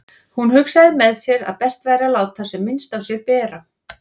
Hún hugsaði með sér að best væri að láta sem minnst á sér bera.